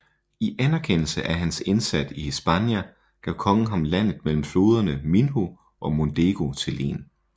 I anerkendelse af hans indsat i Hispania gav kongen ham landet mellem floderne Minho og Mondego til len